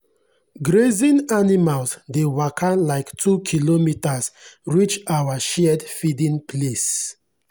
grazing animals dey waka like two kilometres reach our shared feeding place.